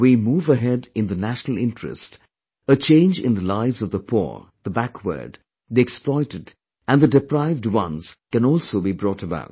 When we move ahead in the national interest, a change in the lives of the poor, the backward, the exploited and the deprived ones can also be brought about